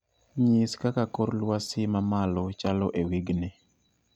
Nyis kaka kor lwasi mamalo chalo e wigni